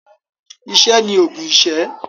Iṣẹ́ ni òògùn iṣẹ́.